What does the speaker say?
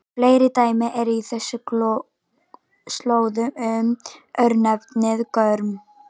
Fleiri dæmi eru á þessum slóðum um örnefnið Gorm.